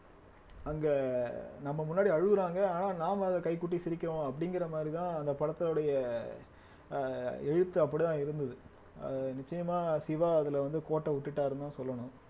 அங்க நம்ம முன்னாடி அழுவுறாங்க ஆனா நாம அத கைகொட்டி சிரிக்கிறோம் அப்படிங்கிற மாதிரிதான் அந்த படத்துடைய அஹ் எழுத்து அப்படித்தான் இருந்தது அஹ் நிச்சயமாக சிவா அதுல வந்து கோட்ட விட்டுட்டாருன்னுதான் சொல்லணும்